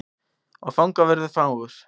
Og fangavörður fagur.